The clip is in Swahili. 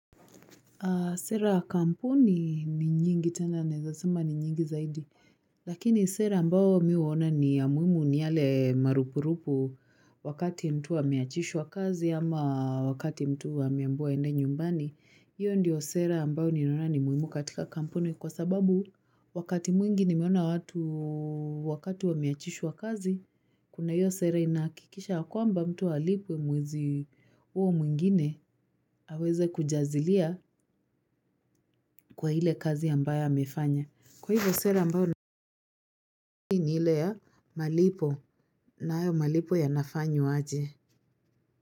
Sera ya kampuni ni nyingi tena naweza sema ni nyingi zaidi. Lakini sera ambao mimi uona ni ya muimu ni yale marupurupu wakati mtu ameachishwa kazi ama wakati mtu ameambiwa aende nyumbani. Hiyo ndiyo sera ambao ninaona ni muhimu katika kampuni kwa sababu wakati mwingi nimeona watu wakati wameachishwa kazi kuna hiyo sera inahakikisha kwamba mtu alipwe mwezi uo mwingine aweze kujazilia kwa ile kazi ambayo amefanya kwa hivyo sera ambayo ninoona ni ile ya malipo na hayo malipo ya nafanywa aje.